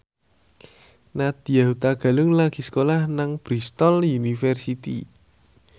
Nadya Hutagalung lagi sekolah nang Bristol university